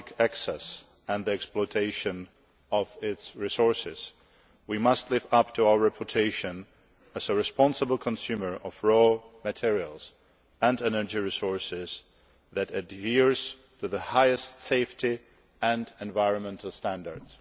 access to the Arctic and the exploitation of its resources, we must live up to our reputation as a responsible consumer of raw materials and energy resources, adhering to the highest safety and environmental standards.